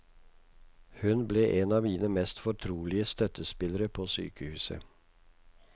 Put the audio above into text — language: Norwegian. Hun ble en av mine mest fortrolige støttespillere på sykehuset.